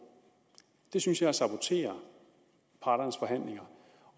det synes jeg er at sabotere parternes forhandlinger